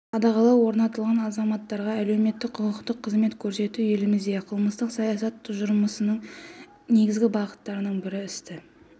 қадағалау орнатылған азаматтарға әлеуметтік құқықтық қызмет көрсету еліміздегі қылмыстық саясат тұжырымдамасының негізгі бағыттарының бірі істі